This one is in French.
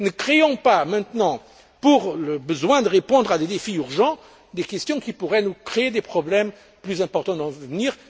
Ne créons pas maintenant, pour le besoin de répondre à des défis urgents, des questions qui pourraient nous créer des problèmes plus importants dans l'avenir.